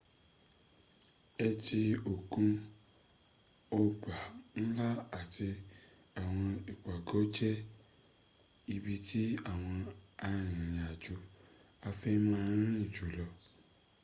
ẹtí òkun ọgbà ńlá àti àwọn ìpàgọ́ jẹ́ ibí tí àwọn arìnrìn-àjò-afẹ́ máa ń rin jùlọ